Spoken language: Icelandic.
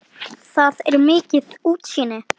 Þaðan er mikið útsýni.